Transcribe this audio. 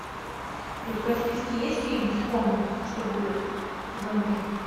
у тебя в списке есть фильм вспомни что будет сезон три